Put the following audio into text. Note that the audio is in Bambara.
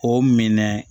O minɛ